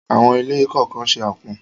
Àwọn ilé kọ̀ọ̀kan se àpọ̀n.